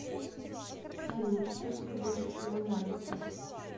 салют что тебе больше всего нравится